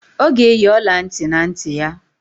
Ọ ga-eyi ọla ntị na ntị ya